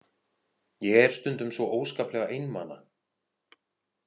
Ég er stundum svo óskaplega einmana.